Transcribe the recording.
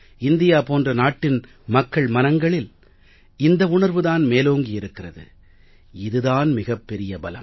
India போன்ற நாட்டின் மக்கள் மனங்களில் இந்த உணர்வுதான் மேலோங்கி இருக்கிறது இது தான் மிகப் பெரிய பலம்